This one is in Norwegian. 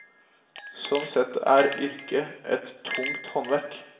Sånn sett er yrket et tungt håndverk.